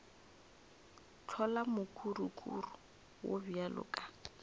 hlola mokurukuru wo bjalo ka